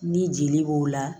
Ni jeli b'o la